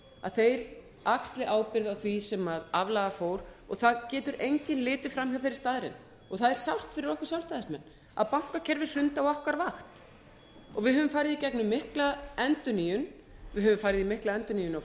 að þeir axli ábyrgð á því sem aflaga fór það getur enginn litið fram hjá þeirri staðreynd og það er sárt fyrir okkur sjálfstæðismenn að bankakerfið hrundi á okkar vakt við höfum farið í gegnum mikla endurnýjun við höfum farið í gegnum mikla endurnýjun á